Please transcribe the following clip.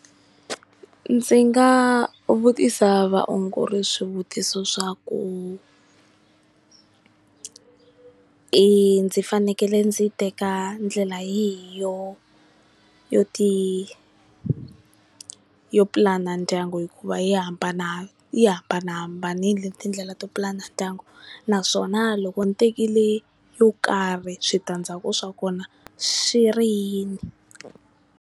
Ndzi nga vutisa vaongori swivutiso swa ku i ndzi fanekele ndzi teka ndlela yihi yo ti yo pulana ndyangu hikuva yi hambana yi hambanahambanile tindlela to pulana ndyangu, naswona loko ni tekile yo karhi switandzhaku swa kona swi ri yini?